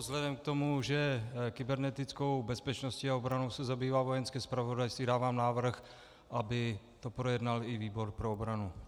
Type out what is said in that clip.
Vzhledem k tomu, že kybernetickou bezpečností a obranou se zabývá Vojenské zpravodajství, dávám návrh, aby to projednal i výbor pro obranu.